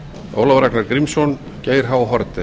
ólafur ragnar grímsson geir h haarde